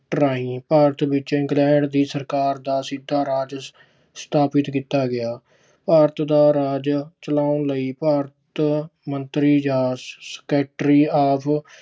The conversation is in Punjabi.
ਰਾਹੀਂ ਭਾਰਤ ਵਿੱਚ ਇੰਗਲੈਂਡ ਦੀ ਸਰਕਾਰ ਦਾ ਸਿੱਧਾ ਰਾਜ ਸਥਾਪਤ ਕੀਤਾ ਗਿਆ। ਭਾਰਤ ਦਾ ਰਾਜ ਚਲਾਉਣ ਲਈ ਭਾਰਤ ਮੰਤਰੀ ਜਾਂ secretary ਆਪ